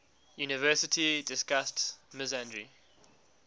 university discussed misandry